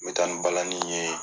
N mi taa ni balani ye